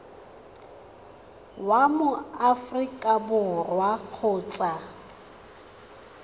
wa mo aforika borwa kgotsa